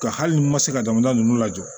Ka hali ni n ma se ka jamana ninnu lajɔ